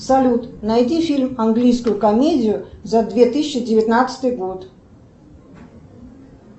салют найди фильм английскую комедию за две тысячи девятнадцатый год